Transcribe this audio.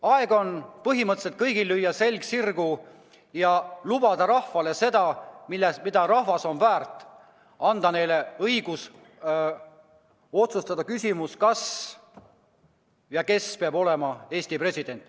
Aeg on kõigil selg sirgu lüüa ja lubada rahvale seda, mida rahvas on väärt: anda inimestele õigus otsustada, kes peab olema Eesti president.